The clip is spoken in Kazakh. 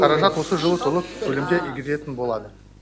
қаражат осы жылы толық көлемде игерілетін болады